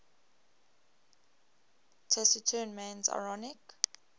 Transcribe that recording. taciturn man's ironic